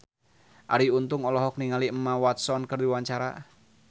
Arie Untung olohok ningali Emma Watson keur diwawancara